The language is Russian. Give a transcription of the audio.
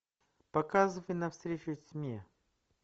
показывай навстречу тьме